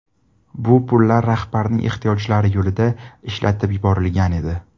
Bu pullar rahbarning ehtiyojlari yo‘lida ishlatib yuborilgan edi.